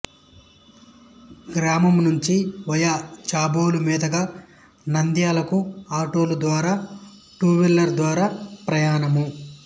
గ్రామనమునుంచి via Chabolu మీదుగా నంధ్యాలకు ఆటోల ద్వారా టువీలర్స్ ద్వారా ప్రయానము